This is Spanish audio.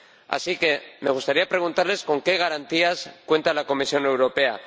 Así que me gustaría preguntarles ¿con qué garantías cuenta la Comisión Europea?,